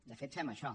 de fet fem això